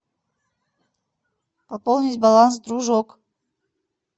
пополнить баланс дружок